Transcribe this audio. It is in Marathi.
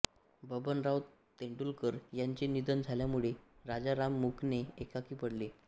बबनराव तेंडुलकर यांचे निधन झाल्यामुळे राजाराम मुकणे एकाकी पडले